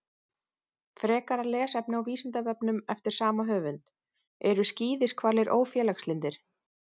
Frekara lesefni á Vísindavefnum eftir sama höfund: Eru skíðishvalir ófélagslyndir?